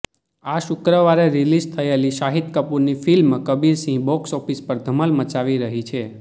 આ શુક્રવારે રિલીઝ થયેલી શાહિદ કપૂરની ફિલ્મ કબીર સિંહ બોક્સઓફિસ પર ધમાલ મચાવી રહી છે